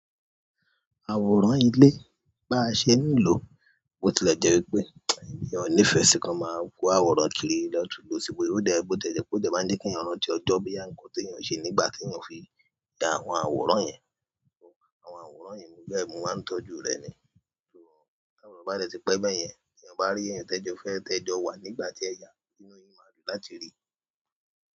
Àwòrán ilé bá ṣe n lò, ó ti lè jẹ́ wípé èmí o nífẹ́ sí kan máa wó àwòrán kiri lọ tún lò síbò yó. Ó dá ẹ gbọ́ tẹ́jẹ́ pé ó máa ń jẹ́ kí èèyàn rántí ọjọ́ bí i àǹkóò tí èèyàn ṣe nígbà tí èèyàn fi dá àwọn àwòrán yẹn. Àwọn àwòrán yìí mú lẹ́ mó máa ń tọ́jú rẹ̀ ni. So tàwòrán bá dẹ̀ ti pẹ́ bẹ́ẹ̀ yẹn, tí èèyàn bá rí èèyàn tẹ́jọ́ fẹ́ tẹ́jọ́ wà nígbà tí ẹ yà, inú yìí máa dùn láti rí.